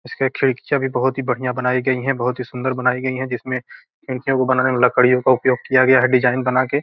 इसके खिड़कियाँ भी बहुत ही बढ़िया बनाई गई हैबहुत ही सुंदर बनाई गई है जिसमें इनके या वो बनाने के लिए लकड़ियों का उपयोग किया गया है डिजाइन बना के --